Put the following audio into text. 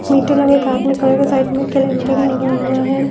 Side में calendar लगा हुआ है।